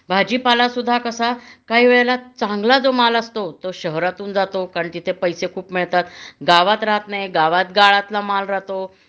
भाजीपाला सुद्धा कसा काही वेळेला चांगला जो माल असतो तो शहरातून जातो कारण तिथे पैसे खूप मिळतात गावात राहत नाही गावात गाळातला माल राहतो